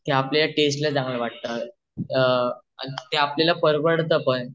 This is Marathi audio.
ते आपल्याला टेस्टला चांगल वाटतं ते आपल्याला परवडत पण